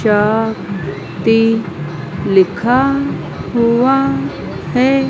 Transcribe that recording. जा ति लिखा हुआ है।